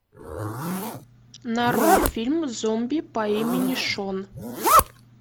нарой фильм зомби по имени шон